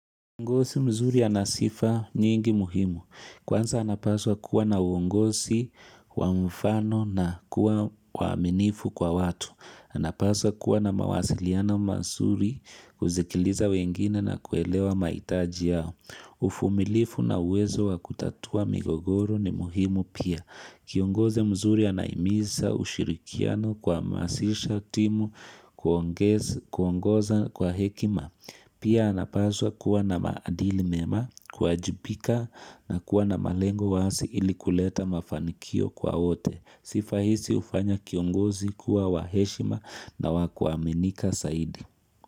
Kiongozi mzuri ana sifa nyingi muhimu. Kwanza anapaswa kuwa na uongosi wa mfano na kuwa waaminifu kwa watu. Anapaswa kuwa na mawasiliano mazuri kuzikiliza wengine na kuelewa maitaji yao. Ufumilifu na uwezo wa kutatua migogoro ni muhimu pia. Kiongozi mzuri anahimisa ushirikiano kuamasisha timu kuongoza kwa hekima Pia anapazwa kuwa na maadili mema, kuwajibika na kuwa na malengo waasi ili kuleta mafanikio kwa wote. Sifa hisi ufanya kiongozi kuwa wa heshima na wa kuaminika saidi.